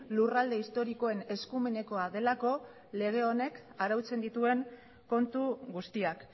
lurralde historikoen eskumenekoa delako lege honek arautzen dituen kontu guztiak